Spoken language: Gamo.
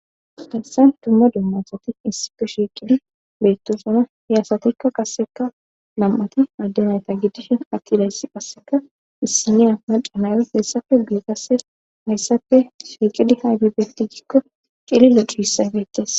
Darsan dumma dummasati issipe shiiqidi bettosona he asatikka qasseka nam7ati addenayta giddishin akkidayssi qasseka issiniya maca nayas hayssafe gueqase hayssapfe shiiqidi haybibetti gikko cili locu hissaybettes.